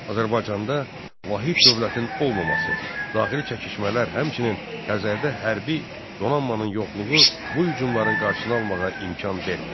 Azərbaycanda vahid dövlətin olmaması, daxili çəkişmələr, həmçinin Xəzərdə hərbi donanmanın yoxluğu bu hücumların qarşısını almağa imkan vermədi.